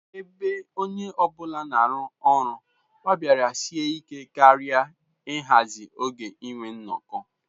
Ebe onye ọ bụla na-arụ ọrụ, ọ bịara sie ike karị ịhazi oge inwe nnọkọ.